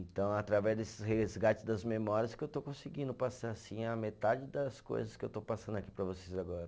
Então, através desse resgate das memórias que eu estou conseguindo passar, assim, a metade das coisas que eu estou passando aqui para vocês agora.